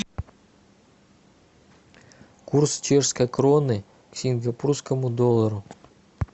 курс чешской кроны к сингапурскому доллару